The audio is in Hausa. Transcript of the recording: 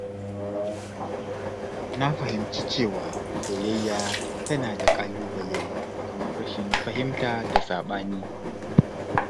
Na fahimci cewa soyayya tana da ƙalubale kamar rashin fahimta da saɓani.